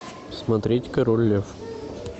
смотреть король лев